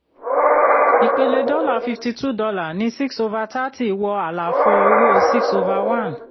ìpele dọ́là fifty two dollar ní six over thirty wọ àlàfo owó six over one